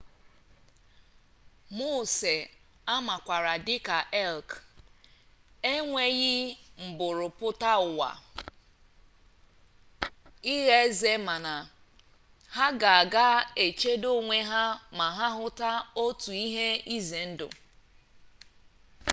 moose amakwara dị ka elk enweghị mburu pụta ụwa ịgha eze mana ha ga-aga chedo onwe ha ma ha hụta otu ihe ize ndụ